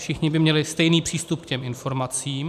Všichni by měli stejný přístup k těm informacím.